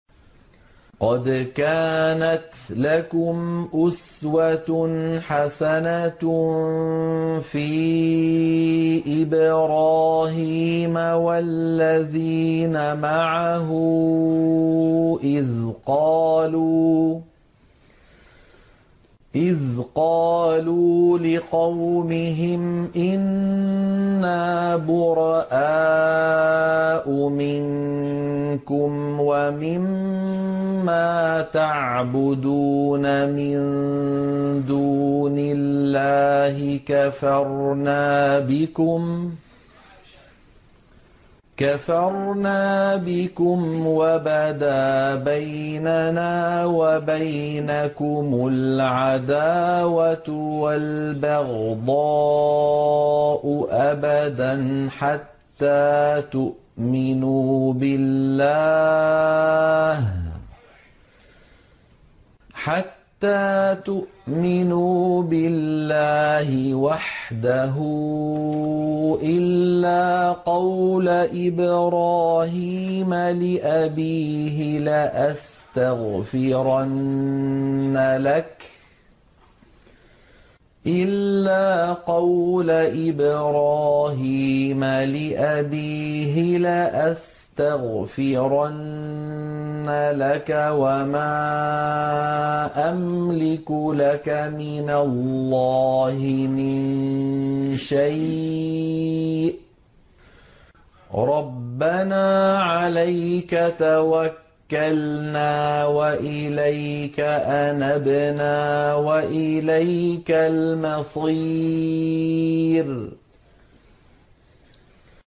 قَدْ كَانَتْ لَكُمْ أُسْوَةٌ حَسَنَةٌ فِي إِبْرَاهِيمَ وَالَّذِينَ مَعَهُ إِذْ قَالُوا لِقَوْمِهِمْ إِنَّا بُرَآءُ مِنكُمْ وَمِمَّا تَعْبُدُونَ مِن دُونِ اللَّهِ كَفَرْنَا بِكُمْ وَبَدَا بَيْنَنَا وَبَيْنَكُمُ الْعَدَاوَةُ وَالْبَغْضَاءُ أَبَدًا حَتَّىٰ تُؤْمِنُوا بِاللَّهِ وَحْدَهُ إِلَّا قَوْلَ إِبْرَاهِيمَ لِأَبِيهِ لَأَسْتَغْفِرَنَّ لَكَ وَمَا أَمْلِكُ لَكَ مِنَ اللَّهِ مِن شَيْءٍ ۖ رَّبَّنَا عَلَيْكَ تَوَكَّلْنَا وَإِلَيْكَ أَنَبْنَا وَإِلَيْكَ الْمَصِيرُ